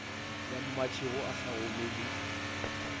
ya mmatšhego a sa gomele